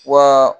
Wa